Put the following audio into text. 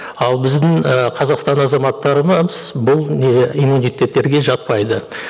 ал біздің і қазақстан азаматтарына бұл не иммунитеттерге жатпайды